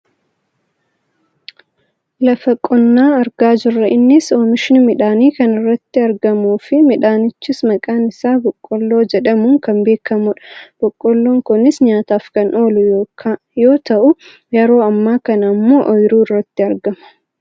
Lafa qonnaa argaa jirra . Innis oomishni midhaanii kan iratti argamuufi midhaanichis maqaan isaa boqqoolloo jehdamuun kan beekkamudha. Boqqolloon kunis nyaataaf kan oolu yoo ta'u yeroo ammaa kana ammoo ooyiruu irratti argama.